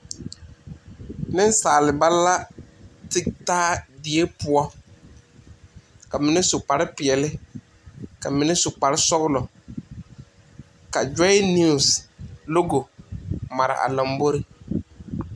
Ninsaaliba la te taa deɛ pou ka mene su kpare peɛle ka mene su kpare sɔglo ka Joy news logo a mare a lɔmbori.